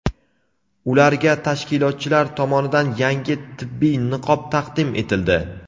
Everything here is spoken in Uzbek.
ularga tashkilotchilar tomonidan yangi tibbiy niqob taqdim etildi.